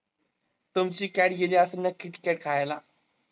तुमची cat गेली असंल ना Kitkat खायला.